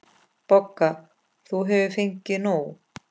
BOGGA: Þú hefur fengið nóg.